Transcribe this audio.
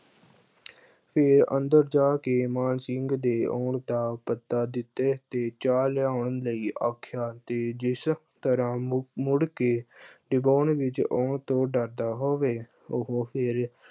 ਤੇ ਅੰਦਰ ਜਾ ਕੇ ਮਾਨ ਸਿੰਘ ਦੇ ਆਉਣ ਦਾ ਪਤਾ ਦਿੱਤਾ ਤੇ ਚਾਹ ਲਿਆਉਣ ਲਈ ਆਖਿਆ ਤੇ ਜਿਸ ਤਰ੍ਹਾਂ ਮੁ ਅਹ ਮੁੜ ਕੇ ਵਿੱਚ ਆਉਣ ਤੋਂ ਡਰਦਾ ਹੋਵੇ। ਉਹੋ ਫਿਰ